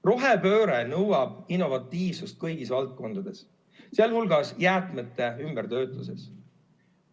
Rohepööre nõuab innovatiivsust kõigis valdkondades, sh jäätmete ümbertöötamises.